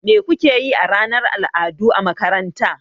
Me kuke yi a ranar al'adu a makaranta?